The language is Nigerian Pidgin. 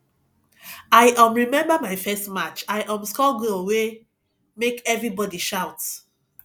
i um remember my first match i um score goal wey make everybody shout